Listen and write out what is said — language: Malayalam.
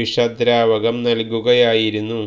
വിഷദ്രാവകം നല്കുകയായിരുന്നു